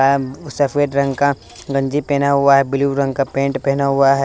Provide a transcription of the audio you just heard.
आम सफेद रंग का गंजी पहना हुआ है ब्लू रंग का पेंट पहना हुआ है।